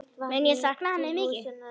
Mun ég sakna hennar mikið.